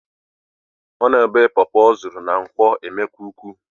Ọ na-ebé pọpọ ọ zụrụ na nkwo emekuku